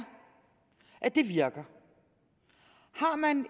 at det virker har man